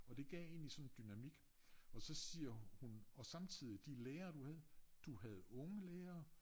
Og det gav egentlig sådan en dynamik og siger hun og samtidigt de lærere du havde du havde unge lærere